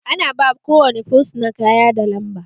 Ana ba ko wane fursuna kaya da lamba